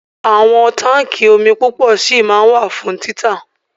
Àwọn táńkì omi púpọ̀ ṣì ma wà fún títà.